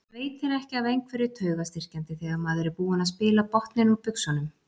Veitir ekki af einhverju taugastyrkjandi þegar maður er búinn að spila botninn úr buxunum.